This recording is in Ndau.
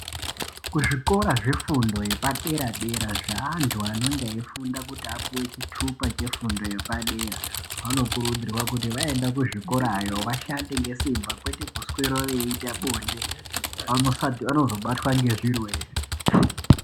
Kuzvikora zvefundo yepadera dera zveantu anonge eifunda kuti apuwe chitupa chefundo yepadera. Vanokurudzirwa kuti vaenda kuzvikorayo vashande ngesimba kwete kuswera veiita bonde, vanozobatwa ngezvirwere.